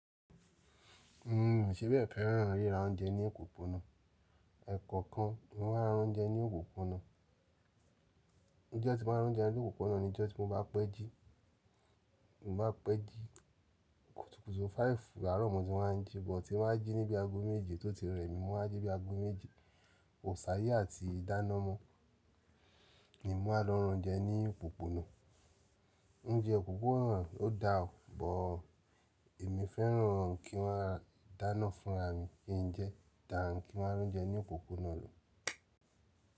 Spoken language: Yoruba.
N o ṣe bẹ́ẹ̀ fẹ́ràn ríra oúnjẹ ní òpópónà. Ẹ̀koọ̀kan ni mó máa ń rá oúnjẹ ní òpópónà. Ijo tí mo máa ń rá oúnjẹ ní òpópónà ni ojo tí mo bá pẹ́ jí. Mo bá pẹ́ jí, kùtùkùtù five àárọ̀ mọ tí máa ń jí bọ̀ tí mo máa ń jí níbi ago méje tó ti rẹ́ mi, mo máa jí bí i ago méje. Kò ṣà yé àti dáná mọ ni mo máa lò rán oúnjẹ ní òpópónà. Oúnjẹ òpópónà, ó daa bọ̀. Èmi fẹ́ràn kí maa dá iná fúnra mi kí n jẹ, dà n kí maa rán oúnjẹ ní òpópónà lọ.